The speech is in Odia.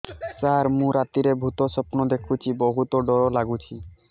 ସାର ମୁ ରାତିରେ ଭୁତ ସ୍ୱପ୍ନ ଦେଖୁଚି ବହୁତ ଡର ଲାଗୁଚି